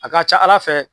A ka ca ala fɛ